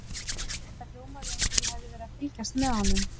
Þetta hljómaði eins og ég hefði verið að fylgjast með honum.